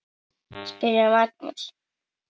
spurði Magnús.